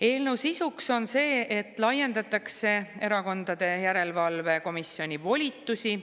Eelnõu sisu on see, et laiendatakse erakondade järelevalve komisjoni volitusi.